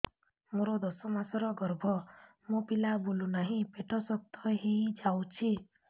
ମୋର ଦଶ ମାସର ଗର୍ଭ ମୋ ପିଲା ବୁଲୁ ନାହିଁ ପେଟ ଶକ୍ତ ହେଇଯାଉଛି